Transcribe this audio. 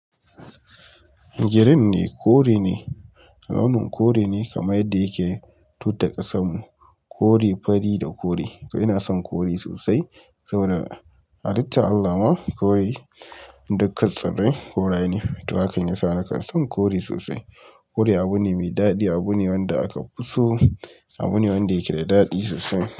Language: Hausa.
Gteen ne kore ne, alaman korw ne, kaman da yake tutar kasamu kore fari da kore. To ina son kore sosai saboda halittar Allah ma kore dukkan tsarin koraye ne. To hakan yasa nakan son kore sosai. Kore abune mai daɗi, abune wanda aka fi so, abune wanda yake da daɗi sosai.